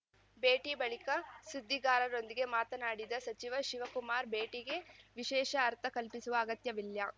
ಭೇಟಿ ಬಳಿಕ ಸುದ್ದಿಗಾರರೊಂದಿಗೆ ಮಾತನಾಡಿದ ಸಚಿವ ಶಿವಕುಮಾರ್‌ ಭೇಟಿಗೆ ವಿಶೇಷ ಅರ್ಥ ಕಲ್ಪಿಸುವ ಅಗತ್ಯವಿಲ್ಲ